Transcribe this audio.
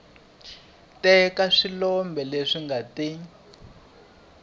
teka swiboho leswi nga ta